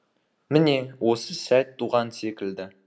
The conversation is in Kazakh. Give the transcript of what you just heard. міне осы сәт туған секілді